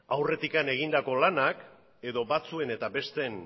aurretik egindako lanak edo batzuen eta besteen